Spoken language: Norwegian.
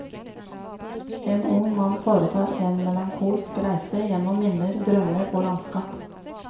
En ung mann foretar en melankolsk reise gjennom minner, drømmer og landskap.